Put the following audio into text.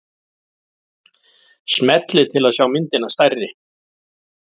Smellið til að sjá myndina stærri.